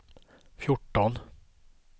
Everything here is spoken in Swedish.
fjorton